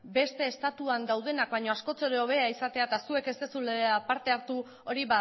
beste estatuetan daudenak baino askoz ere hobea izatea eta zuek ez duzuela parte hartu hori